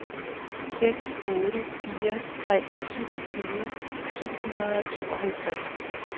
seks otte fire tre syvogtyve syv hundrede og tooghalvtreds